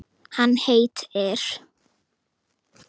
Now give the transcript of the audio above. Hann heitir